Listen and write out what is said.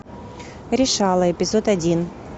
решала эпизод один